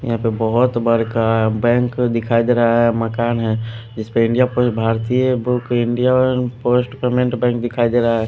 यहां पे बहुत बड़का बैंक दिखाई दे रहा है मकान है जिस पे इंडियापोस्ट भारतीय बुक इंडियापोस्ट पेमेंट बैंक दिखाई दे रहा है।